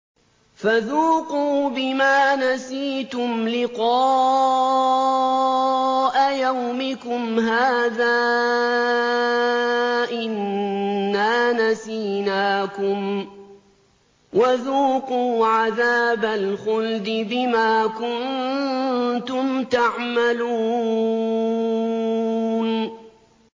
فَذُوقُوا بِمَا نَسِيتُمْ لِقَاءَ يَوْمِكُمْ هَٰذَا إِنَّا نَسِينَاكُمْ ۖ وَذُوقُوا عَذَابَ الْخُلْدِ بِمَا كُنتُمْ تَعْمَلُونَ